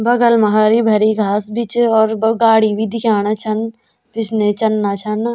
बगल मा हरी भरी घास भी च और ब-गाड़ी भी दिखेंणा छन पिछने चलना छन।